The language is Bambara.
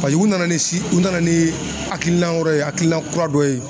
u nana ni si u nana ni hakilina wɛrɛ ye hakilina kura dɔ ye.